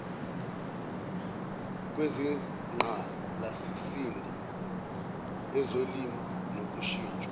kwezingqalasizinda ezolimo nokushintshwa